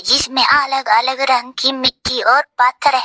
जिसमें अलग अलग रंग की मिट्टी और पत्थर है।